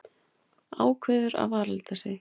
Ákveður að varalita sig.